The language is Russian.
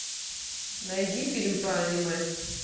найди фильм про аниме